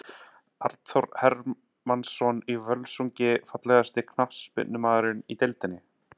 Arnþór Hermannsson í Völsungi Fallegasti knattspyrnumaðurinn í deildinni?